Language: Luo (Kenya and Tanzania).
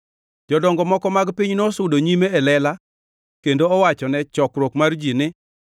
Jodongo moko mag piny nosudo nyime e lela kendo owachone chokruok mangima mar ji ni,